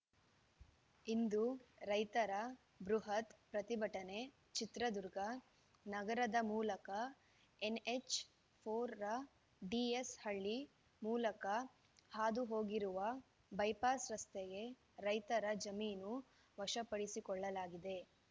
ಇಂದು ರೈತರ ಬೃಹತ್‌ ಪ್ರತಿಭಟನೆ ಚಿತ್ರದುರ್ಗ ನಗರದ ಮೂಲಕ ಎನ್‌ಎಚ್‌ ಫೋರ್ ರ ಡಿಎಸ್‌ ಹಳ್ಳಿ ಮೂಲಕ ಹಾದುಹೋಗಿರುವ ಬೈಪಾಸ್‌ ರಸ್ತೆಗೆ ರೈತರ ಜಮೀನು ವಶಪಡಿಸಿಕೊಳ್ಳಲಾಗಿದೆ